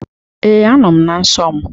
Ee, a nọọ m na nsọ m.